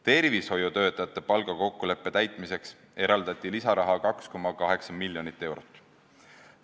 Tervishoiutöötajate palgakokkuleppe täitmiseks eraldati lisaraha 2,8 miljonit eurot.